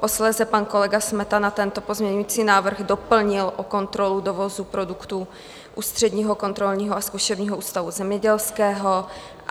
Posléze pan kolega Smetana tento pozměňující návrh doplnil o kontrolu dovozu produktů Ústředního kontrolního a zkušebního ústavu zemědělského.